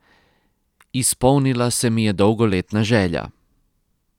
Izpolnila se mi je dolgoletna želja.